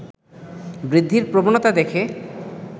বৃদ্ধির প্রবণতা দেখে